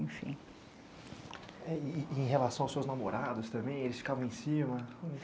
Enfim. Em relação aos seus namorados, eles ficavam em cima?